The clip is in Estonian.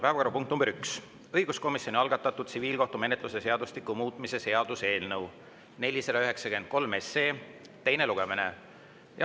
Päevakorrapunkt nr 1: õiguskomisjoni algatatud tsiviilkohtumenetluse seadustiku muutmise seaduse eelnõu 493 teine lugemine.